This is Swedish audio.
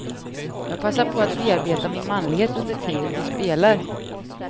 Jag passar på att bearbeta min manlighet under tiden vi spelar.